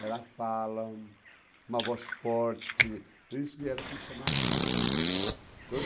Era fala, uma voz forte, quer dizer, então isso que era, isso chamava atenção. Então